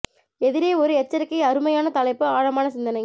எதிரே ஒரு எச்சரிக்கை அருமை யான தலைப்பு ஆழமான சிந்தனை